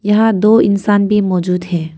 यहां दो इंसान भी मौजूद है।